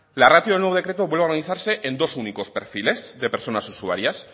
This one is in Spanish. la ratio del nuevo decreto vuelve a organizarse en dos únicos perfiles de personas usuarias